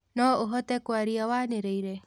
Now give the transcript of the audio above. no ũhote kwaria waniriire